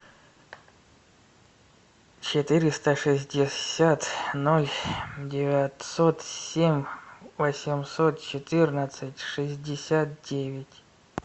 четыреста шестьдесят ноль девятьсот семь восемьсот четырнадцать шестьдесят девять